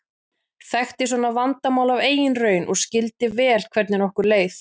Þekkti svona vandamál af eigin raun og skildi vel hvernig okkur leið.